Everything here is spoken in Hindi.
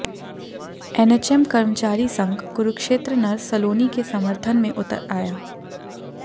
एनएचएम कर्मचारी संघ कुरुक्षेत्र नर्स सलोनी के समर्थन में उतर आया